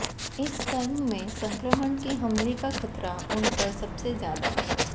इस क्रम में संक्रमण के हमले का खतरा उनपर सबसे ज्यादा